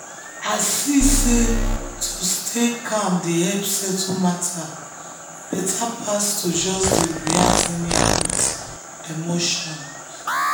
i see sey to stay calm dey help settle matter better pass to just dey react anyhow with emotion.